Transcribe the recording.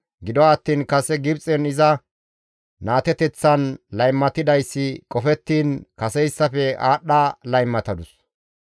Gido attiin kase Gibxen iza naateteththan laymatidayssi qofettiin kaseyssafe aadhdha laymatadus.